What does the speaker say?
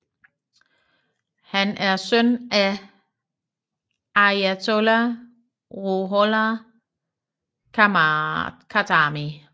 Han er søn af Ayatollah Ruhollah Khatami